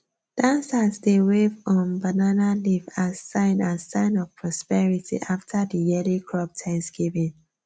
dancers dey wave um banana leaf as sign as sign of prosperity after the yearly crop thanksgiving